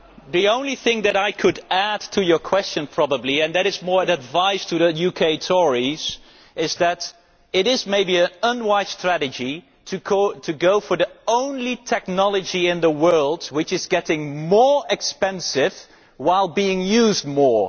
The only thing that I could probably add to your question and this is more advice to the UK Tories is that it is maybe an unwise strategy to go for the only technology in the world which is getting more expensive, while being used more.